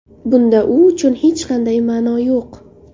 Bunda u uchun hech qanday ma’no yo‘q.